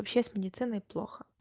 вообще с медициной плохо